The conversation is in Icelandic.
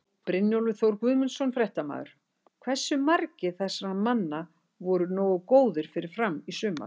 Brynjólfur Þór Guðmundsson, fréttamaður: Hversu margir þessara manna voru nógu góðir fyrir Fram í sumar?